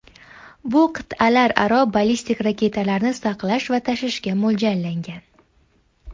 Bu qit’alararo ballistik raketalarni saqlash va tashishga mo‘ljallangan.